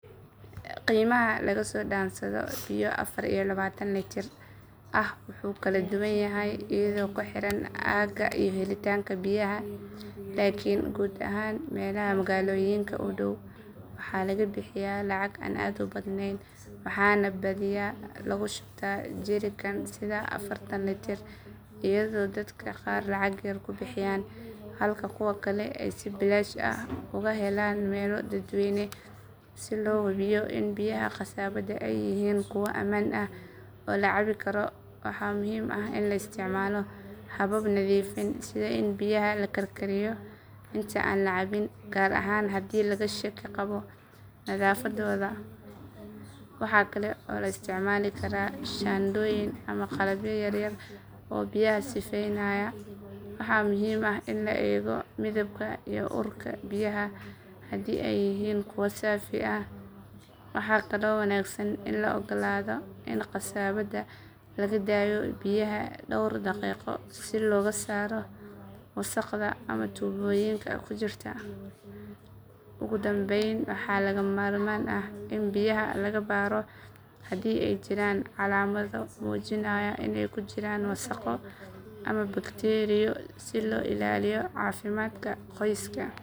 Qiimaha laga soo dhaansado biyo afar iyo labaatan litir ah wuu kala duwan yahay iyadoo ku xiran aagga iyo helitaanka biyaha laakiin guud ahaan meelaha magaalooyinka u dhow waxaa laga bixiyaa lacag aan aad u badnayn waxaana badiyaa lagu shubtaa jerrycan sida afartan litir iyadoo dadka qaar lacag yar ku bixiyaan halka kuwa kale ay si bilaash ah uga helaan meelo dadweyne. Si loo hubiyo in biyaha qasabadda ay yihiin kuwo ammaan ah oo la cabbi karo waxaa muhiim ah in la isticmaalo habab nadiifin sida in biyaha la karkariyo inta aan la cabbin gaar ahaan haddii laga shaki qabo nadaafaddooda. Waxa kale oo la isticmaali karaa shaandhooyin ama qalabyo yaryar oo biyaha sifeynaya. Waxaa muhiim ah in la eego midabka iyo urka biyaha haddii ay yihiin kuwo saafi ah. Waxaa kaloo wanaagsan in la oggolaado in qasabadda laga daayo biyaha dhowr daqiiqo si looga saaro wasakhda ama tuubooyinka ku jirta. Ugu dambayn waxaa lagama maarmaan ah in biyaha laga baaro haddii ay jiraan calaamado muujinaya inay ku jiraan wasakho ama bakteeriyo si loo ilaaliyo caafimaadka qoyska.